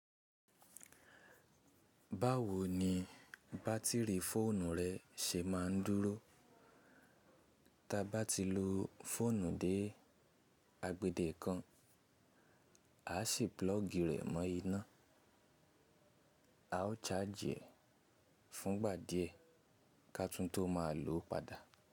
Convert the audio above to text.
Báwo ni bátìrì fóònù rẹ ṣe má a ń dúró? Tábá ti lo fóònù dé agbède kan, á ṣì plug rẹ̀ mọ́ iná. A ó charge e fún ìgbà díẹ̀ ká tún tó má a lò ó padà.